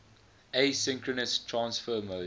asynchronous transfer mode